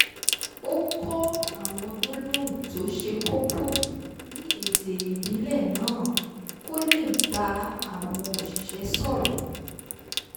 ó kọ́ àwọn gbólóhùn tó ṣe kókó ní èdè ìbílẹ̀ náà kó lè bá àwọn òsìṣẹ́ sọ̀rọ̀